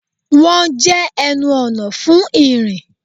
Wọ́n jẹ́ ẹnu ọ̀nà fún ìrìn